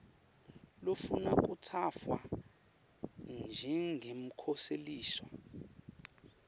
lofuna kutsatfwa njengemkhoseliswa